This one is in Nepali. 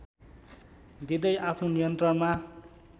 दिँदै आफ्नो नियन्त्रणमा